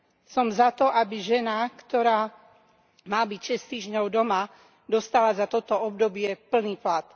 Som za to, aby žena, ktorá má byť 6 týždňov doma, dostala za toto obdobie plný plat.